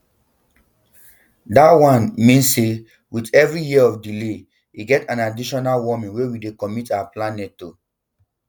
dat wan um mean say with every year of delay e get an additional warming wey we dey commit our planet to um